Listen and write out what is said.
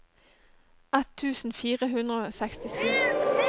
ett tusen fire hundre og sekstisju